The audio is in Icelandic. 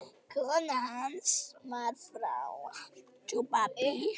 Kona hans var frá